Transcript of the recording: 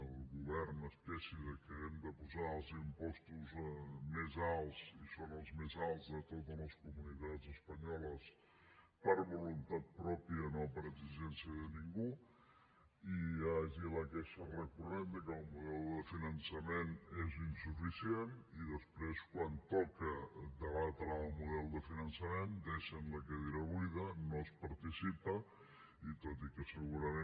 el govern es queixi hem de posar els impostos més alts i són els més alts de totes les comunitats espanyoles per voluntat pròpia no per exigència de ningú hi hagi la queixa recurrent de que el model de finançament és insuficient i després quan toca debatre el model de finançament deixen la cadira buida no es participa i tot i que segurament